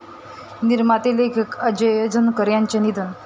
निर्माते, लेखक अजेय झणकर यांचं निधन